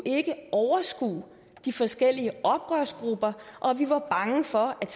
ikke overskue de forskellige oprørsgrupper og vi var bange for at